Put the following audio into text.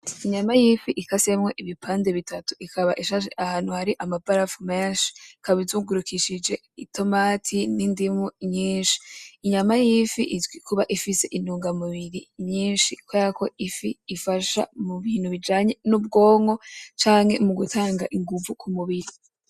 Inyama y'ifi ikasemwo ibipande bitatu, ikaba ishashe ahantu hari amabarafu menshi. Ikaba izungurukishije itomati, n'indimu nyinshi. Inyama y'ifi, izwi kuba ifise intunga mubiri nyinshi, kubera ko ifi ifasha mubintu bijanye nubwonko canke mugutanga ingumvu kumubiri.